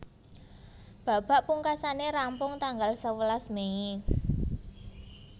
Babak pungkasané rampung tanggal sewelas Mei